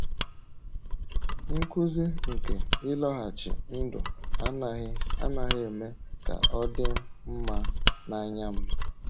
“Nkuzi nke ịlọghachi ndụ anaghị anaghị eme ka ọ dị mma n’anya m.”